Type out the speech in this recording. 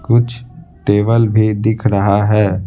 कुछ टेबल भी दिख रहा है।